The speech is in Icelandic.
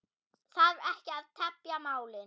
Þarf ekki að tefja málin.